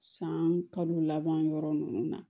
San kalo laban yɔrɔ nunnu na